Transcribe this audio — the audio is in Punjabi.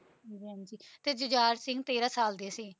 ਤੇ ਝੁਝਾਰ ਸਿੰਘ ਤੇਰ੍ਹ ਸਾਲ ਦੇ ਸੀ